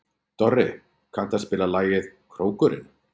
Dorri, kanntu að spila lagið „Krókurinn“?